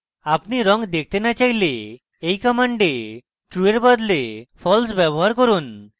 আপনি রঙ দেখতে না চাইলে এই command true এর বদলে false ব্যবহার করুন